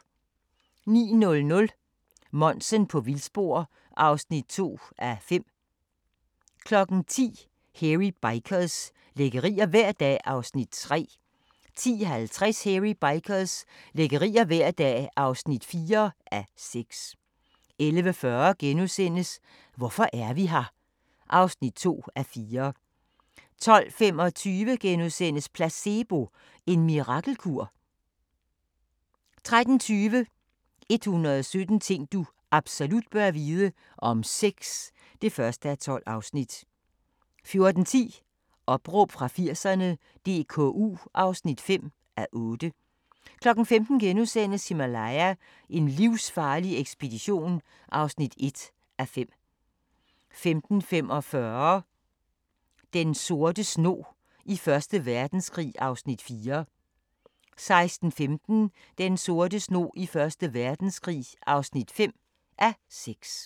09:00: Monsen på vildspor (2:5) 10:00: Hairy Bikers – lækkerier hver dag (3:6) 10:50: Hairy Bikers – lækkerier hver dag (4:6) 11:40: Hvorfor er vi her? (2:4)* 12:25: Placebo – en mirakelkur? * 13:20: 117 ting du absolut bør vide – om sex (1:12) 14:10: Opråb fra 80'erne - DKU (5:8) 15:00: Himalaya: en livsfarlig ekspedition (1:5)* 15:45: Den sorte snog i 1. Verdenskrig (4:6) 16:15: Den sorte snog i 1. Verdenskrig (5:6)